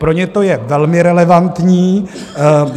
Pro ně to je velmi relevantní.